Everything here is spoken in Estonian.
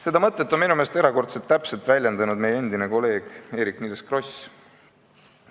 Seda mõtet on minu meelest erakordselt täpselt väljendanud meie endine kolleeg Eerik-Niiles Kross.